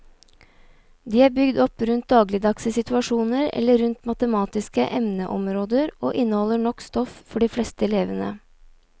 De er bygd opp rundt dagligdagse situasjoner eller rundt matematiske emneområder og inneholder nok stoff for de fleste elevene.